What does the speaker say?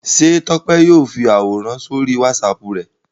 Ṣé Tọ́pẹ́ yóò fi àwòrán sórí WhatsApp rẹ̀?